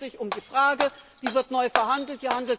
Hier handelt es sich um die Frage Wie wird neu verhandelt?